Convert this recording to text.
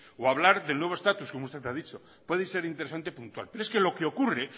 o hablar del nuevo estatus como usted ha dicho puede ser interesante puntual pero es que lo que ocurre